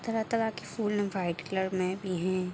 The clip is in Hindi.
तरह-तरह के फूल वाइट कलर में भी हैं।